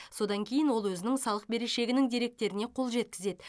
содан кейін ол өзінің салық берешегінің деректеріне қол жеткізеді